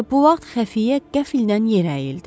Elə bu vaxt xəfiyyə qəfildən yer əyildi.